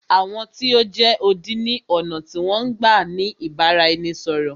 Àwọn tí o jẹ́ odi ni ọ̀nà tí wọn n gbá ni ìbáraẹnisọ̀rọ̀.